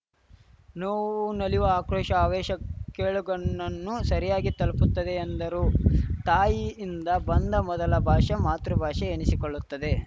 ನೋವು ನಲಿವು ಆಕ್ರೋಶ ಆವೇಶ ಕೇಳುಗನನ್ನು ಸರಿಯಾಗಿ ತಲುಪುತ್ತದೆ ಎಂದರು ತಾಯಿಯಿಂದ ಬಂದ ಮೊದಲ ಭಾಷೆ ಮಾತೃಭಾಷೆ ಎನಿಸಿಕೊಳ್ಳುತ್ತದೆ